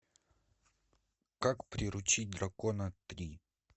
как приручить дракона три